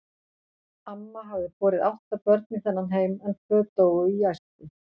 Amma hafði borið átta börn í þennan heim, en tvö dóu í æsku.